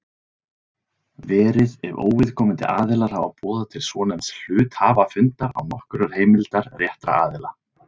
verið ef óviðkomandi aðilar hafa boðað til svonefnds hluthafafundar án nokkurrar heimildar réttra aðila.